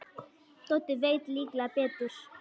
Doddi veit líklega betur.